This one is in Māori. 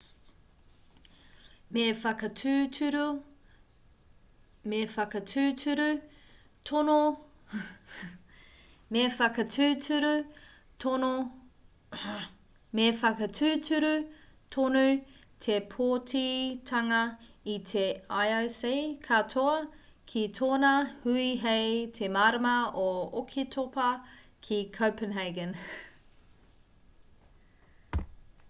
me whakatūturu tonu te pōtitanga e te ioc katoa ki tōna hui hei te marama o oketopa ki copenhagen